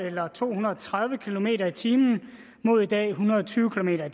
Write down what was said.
eller to hundrede og tredive kilometer per time mod i dag en hundrede og tyve kilometer